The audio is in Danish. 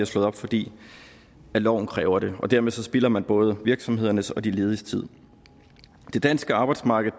slået op fordi loven kræver det dermed spilder man både virksomhedernes og de lediges tid det danske arbejdsmarked